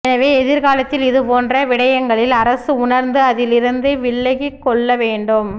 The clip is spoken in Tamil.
எனவே எதிர்காலத்தில் இது போன்ற விடயங்களில் அரசு உணர்ந்து அதில் இருந்து விளக்கிகொள்ள வேண்டும்